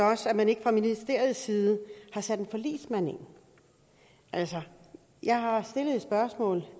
os at man ikke fra ministeriets side har sat en forligsmand ind jeg har stillet et spørgsmål